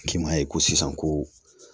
Ki ma ye ko sisan ko